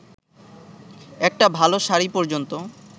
একটা ভালো শাড়ি পর্যন্ত